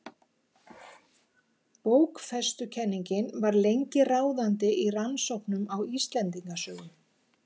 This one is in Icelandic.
Bókfestukenningin var lengi ráðandi í rannsóknum á Íslendingasögum.